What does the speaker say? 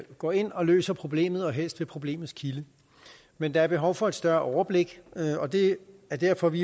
går ind og løser problemet og helst ved problemets kilde men der er behov for et større overblik og det er derfor at vi